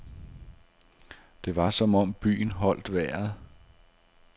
Det var som om byen holdt vejret.